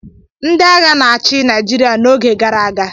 Ndị agha na-achị Naịjirịa n'oge gara aga